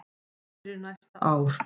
fyrir næsta ár.